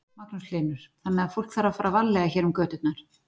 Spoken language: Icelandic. Magnús Hlynur: Þannig að fólk þarf að fara varlega hér um göturnar?